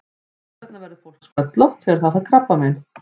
Hvers vegna verður fólk sköllótt þegar það fær krabbamein?